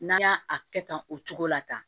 N'an y'a a kɛ tan o cogo la tan